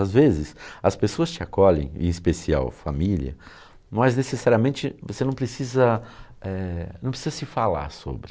Às vezes as pessoas te acolhem, em especial família, mas necessariamente você não precisa eh... Não precisa se falar sobre.